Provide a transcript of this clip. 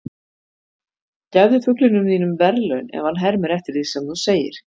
gefðu fuglinum þínum verðlaun ef hann hermir eftir því sem þú segir